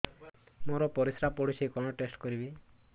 ମୋର ପରିସ୍ରା ପୋଡୁଛି କଣ ଟେଷ୍ଟ କରିବି